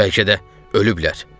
Bəlkə də ölüblər.